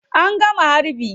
An gama harbin?